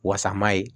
Wasa ma ye